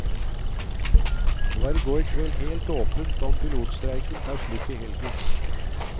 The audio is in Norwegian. Det var i går kveld helt åpent om pilotstreiken tar slutt i helgen.